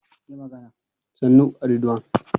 Ahmad yana son tafiya a jirgin sama saboda yana da sauri da jin daɗi.